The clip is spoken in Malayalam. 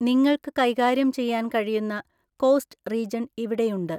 നിങ്ങൾക്ക് കൈകാര്യം ചെയ്യാൻ കഴിയുന്ന കോസ്റ്റ് റീജൺ ഇവിടെയുണ്ട്.